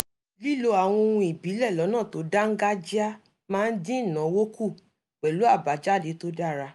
lílo àwọn ohun ìbílẹ̀ lọ́nà tó dáńgájíá máa ń dín ìnáwó kù pẹ̀lú àbájáde tó dára